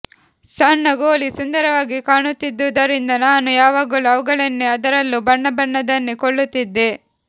ಸಣ್ಣ ಗೋಲಿ ಸುಂದರವಾಗಿ ಕಾಣುತ್ತಿಿದ್ದುದರಿಂದ ನಾನು ಯಾವಾಗಲೂ ಅವುಗಳನ್ನೇ ಅದರಲ್ಲೂ ಬಣ್ಣಬಣ್ಣದವನ್ನೇ ಕೊಳ್ಳುತ್ತಿಿದ್ದೆ